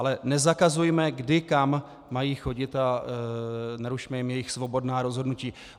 Ale nezakazujme, kdy kam mají chodit, a nerušme jim jejich svobodná rozhodnutí.